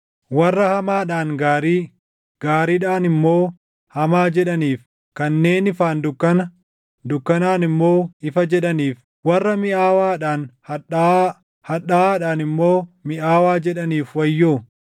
Warra hamaadhaan gaarii, gaariidhaan immoo hamaa jedhaniif, kanneen ifaan dukkana, dukkanaan immoo ifa jedhaniif, warra miʼaawaadhaan hadhaaʼaa, hadhaaʼaadhaan immoo miʼaawaa jedhaniif wayyoo.